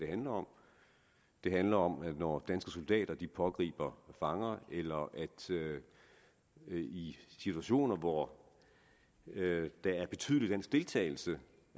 handler om det handler om at når danske soldater pågriber fanger eller er i situationer hvor der er betydelig dansk deltagelse